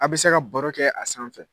A bɛ se ka baro kɛ a sanfɛ.